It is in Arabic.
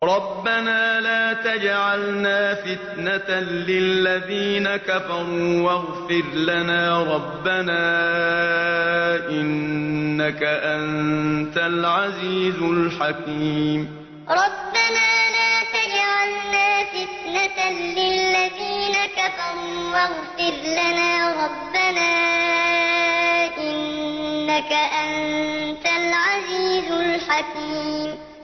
رَبَّنَا لَا تَجْعَلْنَا فِتْنَةً لِّلَّذِينَ كَفَرُوا وَاغْفِرْ لَنَا رَبَّنَا ۖ إِنَّكَ أَنتَ الْعَزِيزُ الْحَكِيمُ رَبَّنَا لَا تَجْعَلْنَا فِتْنَةً لِّلَّذِينَ كَفَرُوا وَاغْفِرْ لَنَا رَبَّنَا ۖ إِنَّكَ أَنتَ الْعَزِيزُ الْحَكِيمُ